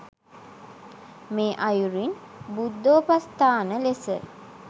මේ අයුරින් බුද්ධෝපස්ථාන ලෙස